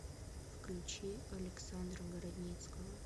включи александра городницкого